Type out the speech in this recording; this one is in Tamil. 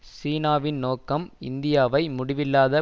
சீனாவின் நோக்கம் இந்தியாவை முடிவில்லாத